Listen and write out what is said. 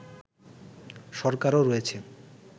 সরকারও রয়েছে